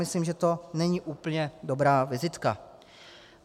Myslím, že to není úplně dobrá vizitka.